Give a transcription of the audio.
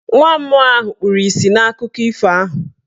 Nwa mmụọ ahụ kpuru isi n'akụkọ ifo ahụ.